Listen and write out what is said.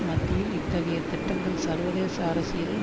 மத்தியில் இத்தகைய திட்டங்கள் சர்வதேச அரசியலில்